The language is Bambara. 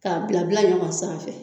K'a bila bila ɲɔgɔn sanfɛ.